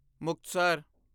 Muktsar